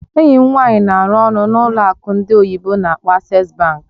Enyi m nwanyị na-arụ ọrụ n'ụlọ akụ ndị oyibo n'akpọ Access bank